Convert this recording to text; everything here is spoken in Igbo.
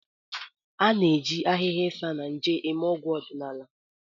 A na-eji ahịhịa Isanaje eme ọgwụ ọdịnala.